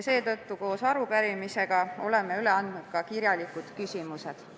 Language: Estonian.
Oleme koos arupärimisega üle andnud ka kirjalikud küsimused.